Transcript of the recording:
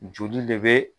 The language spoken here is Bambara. Joli de bɛ